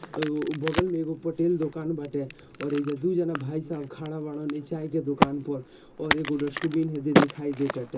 तो उ बगल मे एगो पटेल दुकान बाटे और ई ऐजा दुई जाना भाईसाब खड़ा बारन इ चाय के दुकान पर| और एगो डस्टबिन है जो दे दिखाई दे टाटे|